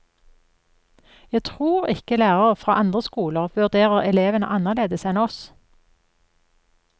Jeg tror ikke lærere fra andre skoler vurderer elevene annerledes enn oss.